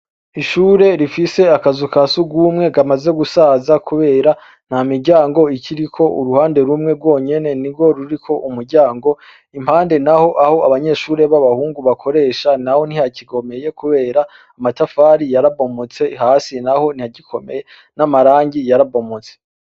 Ishure rifise akazu ka surwumwe kamaze gusaza kubera ntamiryango ikiriko, kuruhande rumwe rwonyene nirwo ruriko umuryango, impande naho aho abanyeshure b'abahungu bakoresha naho ntihagikomeye kubera amatafari yarabomotse, hasi naho ntihagikomeye , n'amarangi yarabomotse.